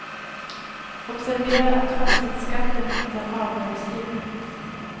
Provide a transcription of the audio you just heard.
Observera att fastighetsskatten inte är avdragsgill.